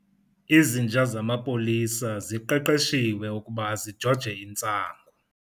Izinja zamapolisa ziqeqeshiwe ukuba zijoje intsangu.